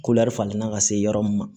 Kulɛri falenna ka se yɔrɔ min ma